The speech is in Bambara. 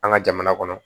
An ka jamana kɔnɔ